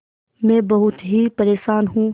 मैं बहुत ही परेशान हूँ